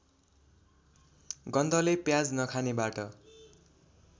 गन्धले प्याज नखानेबाट